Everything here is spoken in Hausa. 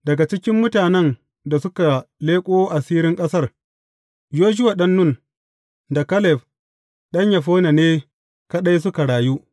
Daga cikin mutanen da suka leƙo asirin ƙasar, Yoshuwa ɗan Nun, da Kaleb ɗan Yefunne ne, kaɗai suka rayu.